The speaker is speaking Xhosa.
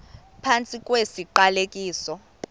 phantsi kwesi siqalekiso